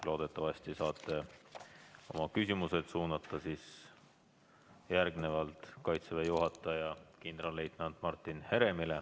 Loodetavasti saate oma küsimused suunata Kaitseväe juhataja kindralleitnant Martin Heremile.